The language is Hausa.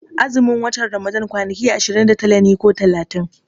Azumin watan Ramadan kwani ki ashirin da tara ne ko talatin